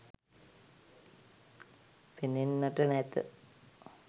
පෙනෙන්නට නැත.